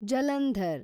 Jalandhar